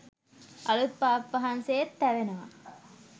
අලුත් පාප් වහන්සේත් තැවෙනව